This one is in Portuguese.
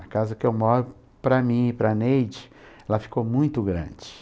A casa que eu moro, para mim e para a Neide, ela ficou muito grande.